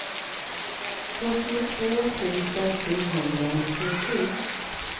fyrtiotvå tusen sjuhundranittiosju